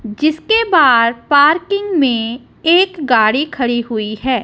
जिसके बाद पार्किंग में एक गाड़ी खड़ी हुई है।